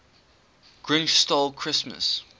grinch stole christmas